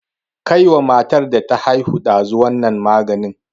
Kai wa matar da ta haihu ɗazu wannan maganin!